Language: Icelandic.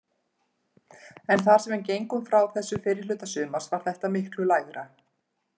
En þar sem við gengum frá þessu fyrri hluta sumars var þetta miklu lægra.